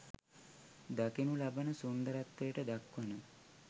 දකිනු ලබන සුන්දරත්වයට දක්වන